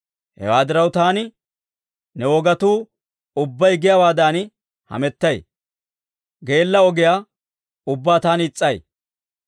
Hewaa diraw, taani ne wogatuu ubbay giyaawaadan hamettay; geella ogiyaa ubbaa taani is's'ay.